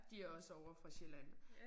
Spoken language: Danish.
De også ovre fra Sjælland